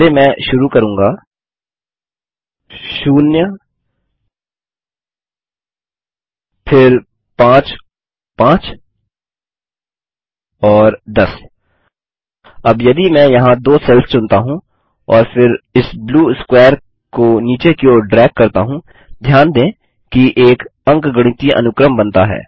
पहले मैं शुरू करूँगा 0 फिर 5 5 और 10 अब यदि मैं यहाँ दो सेल्स चुनता हूँ और फिर इस ब्लू स्क्वेरको नीचे की ओर ड्रैग करता हूँ ध्यान दें कि एक अंकगणितीय अनुक्रम बनता है